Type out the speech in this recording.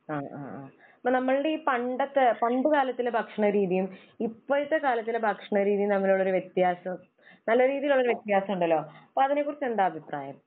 ആ ആ. അപ്പോൾ നമ്മുടെ ഈ പണ്ടത്തെ, പണ്ട് കാലത്തിലെ ഭക്ഷണ രീതിയും ഇപ്പോഴത്തെ കാലത്തിലെ ഭക്ഷണ രീതിയും തമ്മിലുള്ള ഒരു വ്യത്യാസം, നല്ല രീതിയിൽ ഉള്ള ഒരു വ്യത്യാസം ഉണ്ടല്ലോ. അപ്പോ അതിനെ കുറിച്ച് എന്താ അഭിപ്രായം?